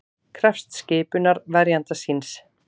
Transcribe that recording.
Krefst skipunar verjanda síns